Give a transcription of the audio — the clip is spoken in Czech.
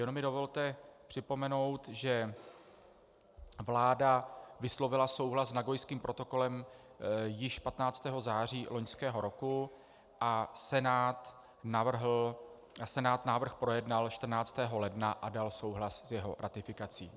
Jenom mi dovolte připomenout, že vláda vyslovila souhlas s Nagojským protokolem již 15. září loňského roku a Senát návrh projednal 14. ledna a dal souhlas s jeho ratifikací.